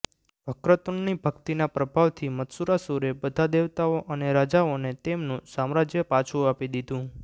વક્રતુંડની ભક્તિના પ્રભાવથી મત્સરાસુરે બધા દેવતાઓ અને રાજાઓને તેમનું સામ્રાજ્ય પાછું આપી દીધુ